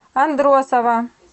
андросова